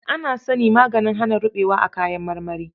Ana sany maganin hana ruɓewa a kayan marmari.